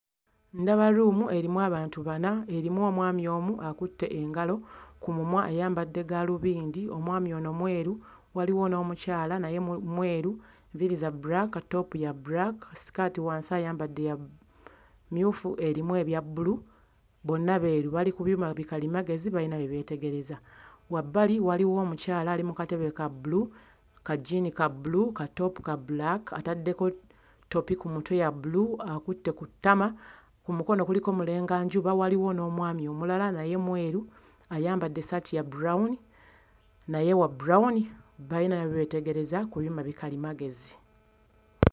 Ndaba luumu erimu abantu bana, erimu omwami omu akutte ngalo, ku mumwa ayambadde gaalubindi. Omwami ono mweru, waliwo n'omukyala, naye mu mweru, enviiri za bbulaaka, topopu ya bulaaka, sikaati wansi ayambadde ya mmyufu erimu ebya bbulu, bonna beeru bali ku byuma bikalimagezi kalimagezi balina bye beetegereza. Wabbali waliwo omukyala ali ku katabe ka bbulu, ka jjiini ka bbulu katoopu ka bbulaaka, ataddeeko ttopi ku mutwe ya bbulu, akutta ku mukono kuliko mulenganjuba. Waliwo n'omwami omulala naye mweru, ayambadde essaati ya bulawuni naye wabbulawuni balima b we beetegereza ku byuma bikalimagezi.